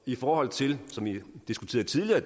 i forhold til som vi diskuterede tidligere